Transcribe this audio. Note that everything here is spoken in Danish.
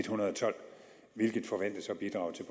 hundrede og tolv hvilket forventes at bidrage til